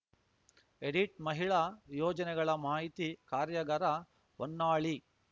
edit ಮಹಿಳಾ ಯೋಜನೆಗಳ ಮಾಹಿತಿ ಕಾರ್ಯಾಗಾರ ಹೊನ್ನಾಳಿ